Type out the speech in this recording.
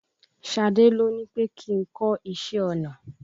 Ṣadé ló ní pè kí n kọ́ iṣẹ́ ọnà.